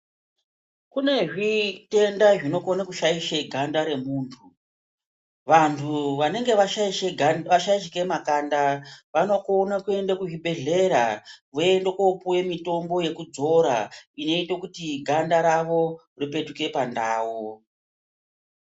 Kune zvitenda zvinokone ushaishe ganda remuntu vantu vanenge vashaishike makanda vanokone kuenda kuzvibhedhlera voende kopuwa mutombo yekudzora inoite kuti ganda ravo ripetuke pandau.